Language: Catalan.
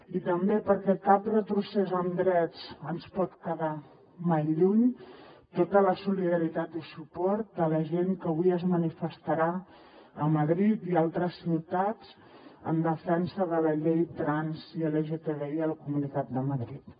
i també perquè cap retrocés en drets ens pot quedar mai lluny tota la solidaritat i suport a la gent que avui es manifestarà a madrid i a altres ciutats en defensa de la llei trans i lgtbi a la comunitat de madrid